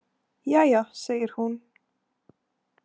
Jæja, segir hún.